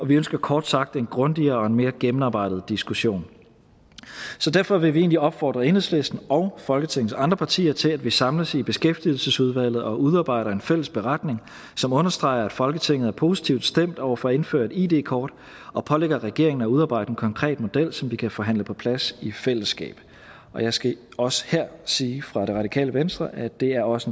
vi ønsker kort sagt en grundigere og mere gennemarbejdet diskussion derfor vil vi egentlig opfordre enhedslisten og folketingets andre partier til at vi samles i beskæftigelsesudvalget og udarbejder en fælles beretning som understreger at folketinget er positivt stemt over for at indføre et id kort og pålægger regeringen at udarbejde en konkret model som vi kan forhandle på plads i fællesskab jeg skal også her sige fra det radikale venstre at det også